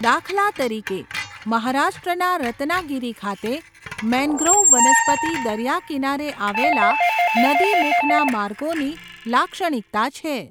દાખલા તરીકે, મહારાષ્ટ્રના રત્નાગીરી ખાતે, મેન્ગ્રોવ વનસ્પતિ દરિયાકિનારે આવેલા નદીમુખના માર્ગોની લાક્ષણિકતા છે.